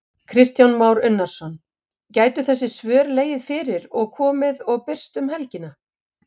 Kristján Már Unnarsson: Gætu þessi svör legið fyrir og komið og birst um helgina?